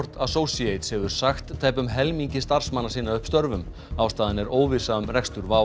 Associates hefur sagt tæpum helmingi starfsmanna sinna upp störfum ástæðan er óvissa um rekstur WOW